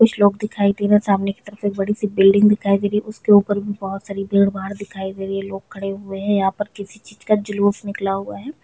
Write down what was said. कुछ लोग दिखाई दे रहै है सामने की तरफ एक बड़ी सी बिल्डिंग दिखाई दे रही है उसके उपर भी बहुत सारे भीड़ भाड़ दिखाई दे रही है लोग खड़े हुए है यहाँ पर किसी चीज का जुलुस निकला हुआ है।